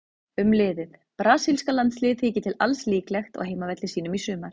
Um liðið: Brasilíska landsliðið þykir til alls líklegt á heimavelli sínum í sumar.